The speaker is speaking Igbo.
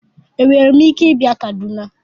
Enwere m ike ịbịa Kaduna?